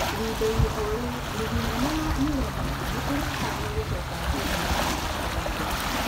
Ihinda inĩ o-rĩu, rigi nene ya ureno nĩ ĩratanywo gũcoka Juni na mĩthako ĩĩrĩ